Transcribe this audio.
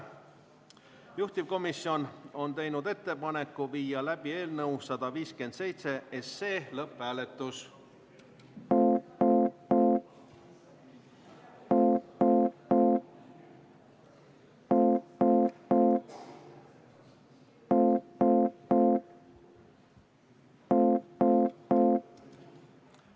Juhtivkomisjon on teinud ettepaneku viia läbi eelnõu 157 lõpphääletus.